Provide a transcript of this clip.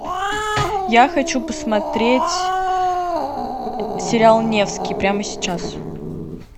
я хочу посмотреть сериал невский прямо сейчас